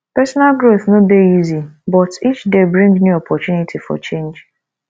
personal growth no dey easy but each day bring new opportunity for change